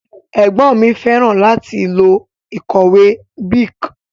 Ègbón mi féràn láti lo ìkòwé Bic